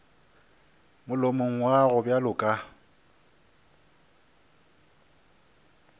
molomong wa gago bjalo ka